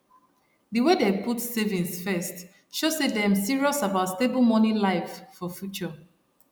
di way dem put savings first show say dem serious about stable money life for future